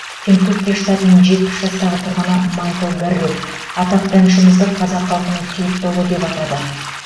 кентукки штатының жетпіс жастағы тұрғыны майкл гарретт атақты әншімізді қазақ халқының сүйікті ұлы деп атады